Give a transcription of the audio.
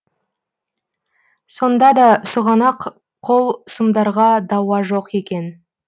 сонда да сұғанақ қол сұмдарға дауа жоқ екен